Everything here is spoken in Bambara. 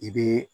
I bɛ